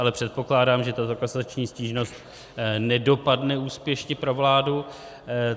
Ale předpokládám, že tato kasační stížnost nedopadne úspěšně pro vládu.